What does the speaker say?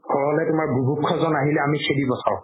নহ'লে জন আহিলে আমি খেদি ৰখাও